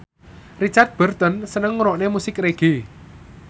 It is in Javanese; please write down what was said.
Richard Burton seneng ngrungokne musik reggae